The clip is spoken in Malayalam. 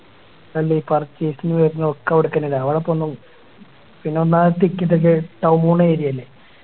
എന്തി Purchase ന് വർന്നെ ഒക്കെ അവിടെക്കന്നെല്ലെ അവിടപ്പൊന്നും പിന്നെ ഒന്നാമത് Ticket ഒക്കെ Town അല്ലെ